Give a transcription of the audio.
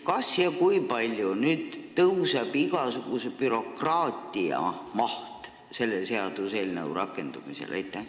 Kas ja kui palju tõuseb igasuguse bürokraatia maht selle seaduseelnõu rakendumisel?